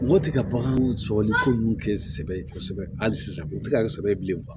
Mɔgɔ tɛ ka bagan sɔrɔli ko ninnu kɛ sɛbɛn ye kosɛbɛ hali sisan o tɛ ka kɛ sɛbɛ ye bilen